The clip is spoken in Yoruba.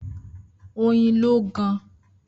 Oyin lo gaan